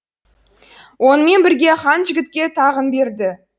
онымен бірге хан жігітке тағын берді